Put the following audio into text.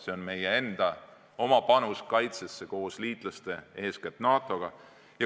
See on meie enda panus oma kaitsesse koos liitlaste, eeskätt NATO-ga.